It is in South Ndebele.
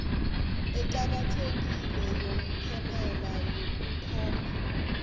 eqakathekileko yomphumela yekhomba